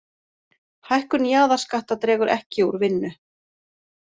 Hækkun jaðarskatta dregur ekki úr vinnu